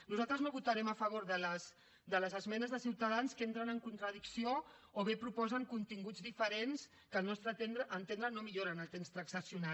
nosaltres no votarem a favor de les esmenes de ciutadans que entren en contradicció o bé proposen continguts diferents que al nostre entendre no milloren el text transaccionat